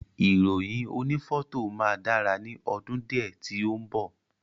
Ìròyìn oni fọto máa dára ni ọdún diẹ ti o mbọ.